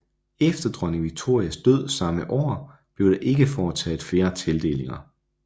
Efter dronning Victorias død samme år blev der ikke foretaget flere tildelinger